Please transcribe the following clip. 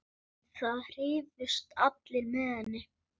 Það hrifust allir með henni.